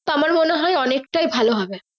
আমার মনে হয় অনেক তাই ভালো হবে।